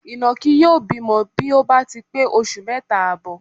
Ìnàkí yóò bímọ bí ó bá ti pé oṣù mẹ́ta àbọ̀.